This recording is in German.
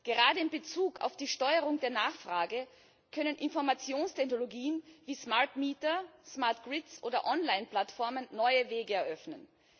Gerade in Bezug auf die Steuerung der Nachfrage können Informationstechnologien wie smart meter smart grids oder Online plattformen neue Wege eröffnen.